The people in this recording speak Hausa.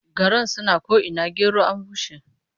Garan suna ko'ina gero an bushe.